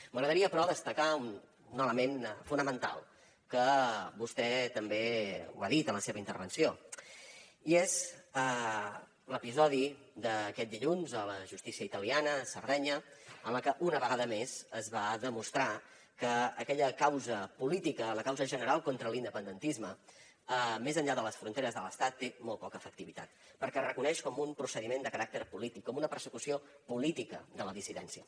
m’agradaria però destacar un element fonamental que vostè també ho ha dit en la seva intervenció i és l’episodi d’aquest dilluns a la justícia italiana a sardenya en la que una vegada més es va demostrar que aquella causa política la causa general contra l’independentisme més enllà de les fronteres de l’estat té molt poca efectivitat perquè es reconeix com un procediment de caràcter polític com una persecució política de la dissidència